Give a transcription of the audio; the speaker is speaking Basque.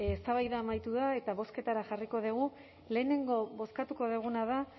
eztabaida amaitu da eta bozketara jarriko dugu lehenengo bozkatuko duguna da